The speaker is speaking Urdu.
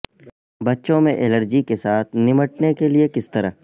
بچوں میں الرجی کے ساتھ نمٹنے کے لئے کس طرح